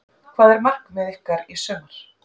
Hvað er markmið ykkar í sumar?